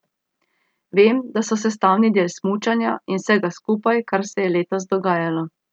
Vem, da so sestavni del smučanja in vsega skupaj, kar se je letos dogajalo.